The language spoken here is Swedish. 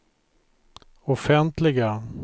offentliga